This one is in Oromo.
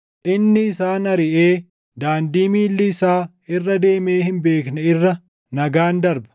Inni isaan ariʼee, daandii miilli isaa irra deemee hin beekne irra nagaan darba.